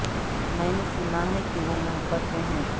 میں نے سنا ہے کہ وہ محبت میں ہیں